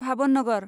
Bhavnagar